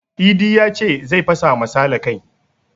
Idi yace zai fasa ma sale kai